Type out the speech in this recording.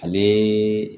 Ale